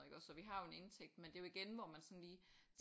Og iggås så vi har jo en indtægt men det er jo igen hvor man sådan lige